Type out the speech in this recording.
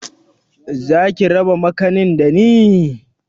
Zaki raba makanin dani?